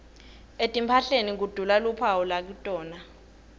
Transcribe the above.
etimphahleni kudula luphawu lakitona